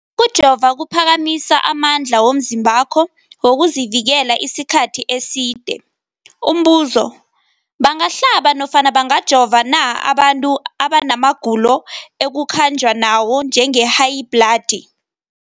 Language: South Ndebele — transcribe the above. Ukujova kuphakamisa amandla womzimbakho wokuzivikela isikhathi eside. Umbuzo, bangahlaba nofana bangajova na abantu abana magulo ekukhanjwa nawo, njengehayibhladi?